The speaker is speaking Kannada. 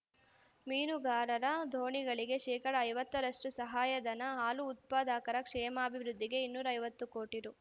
ಮೀನುಗಾರರ ದೋಣಿಗಳಿಗೆ ಶೇಕಡಾ ಐವತ್ತರಷ್ಟು ಸಹಾಯ ಧನ ಹಾಲು ಉತ್ಪಾದಕರ ಕ್ಷೇಮಾಭಿವೃದ್ಧಿಗೆ ಇನ್ನೂರ ಐವತ್ತು ಕೋಟಿ ರೂ